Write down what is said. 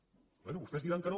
bé vostès diran que no